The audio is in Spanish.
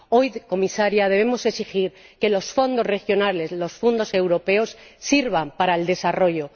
Señora Comisaria, hoy debemos exigir que los fondos regionales, los fondos europeos, sirvan para el desarrollo.